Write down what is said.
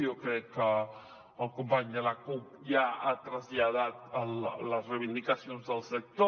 jo crec que el company de la cup ja ha traslladat les reivindicacions del sector